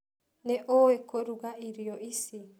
Nĩũĩ kũruga irio ici?